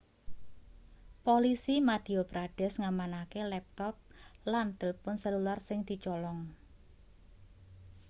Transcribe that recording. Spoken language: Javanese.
polisi madhya pradesh ngamanake laptop lan tilpun selular sing dicolong